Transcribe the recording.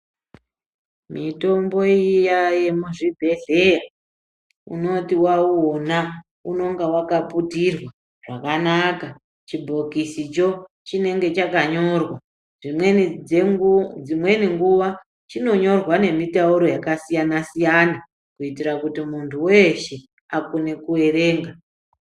Mitombo iya yemuzvibhedhleya, unoti waunona unonga wakaputirwa zvakanaka .Chibhokisicho, chinenge chakanyorwa. Dzimweni dzenguu dzimweni nguva chinonyorwa nemitauro yakasiyana-siyana kuitira kuti muntu weshe akone kuerenga.